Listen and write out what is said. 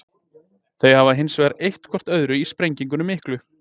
Þau hafi hins vegar eytt hvort öðru í sprengingunni miklu.